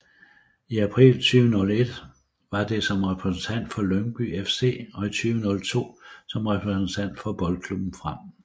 I april 2001 var det som repræsentant for Lyngby FC og i 2002 som repræsentant for Boldklubben Frem